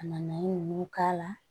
Ka na nan ninnu k'a la